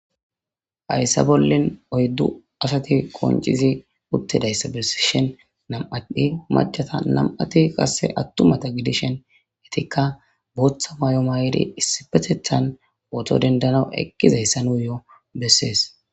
Haysa bollin oyddu asathi qonccizi uththidayssa bessishin nam7athi maccata nam7athi aththumatha gidishin ethikka booththa maayo mayidi issippetheththan pooto denddanawu eqqizeyssa nuuyyoo bessees.